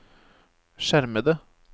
skjermede